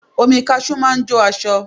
Omi kaṣú máa ń jó aṣọ